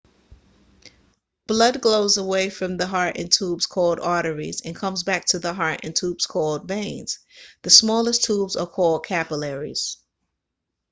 blood goes away from the heart in tubes called arteries and comes back to the heart in tubes called veins the smallest tubes are called capillaries